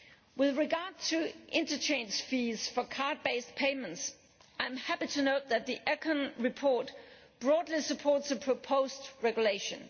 With regard to interchange fees for card based payments, I am happy to note that the ECON report broadly supports the proposed regulation.